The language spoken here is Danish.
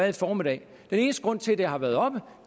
i formiddag den eneste grund til at det har været oppe